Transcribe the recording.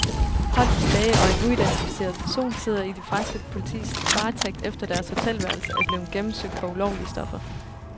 Holdets læge og en uidentificeret person sidder i det franske politis varetægt, efter deres hotelværelser er blevet gennemsøgt for ulovlige stoffer.